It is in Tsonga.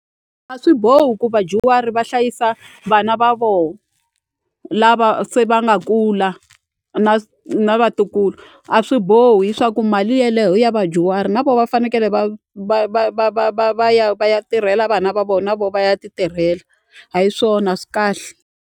A swi bohi ku vadyuhari va hlayisa vana va voho lava se va nga kula na na vatukulu a swi bohi leswaku mali yeleyo ya vadyuhari na vo va fanekele va va va va va va va ya va ya tirhela vana va vo na vo va ya ti tirhela a hi swona a swi kahle.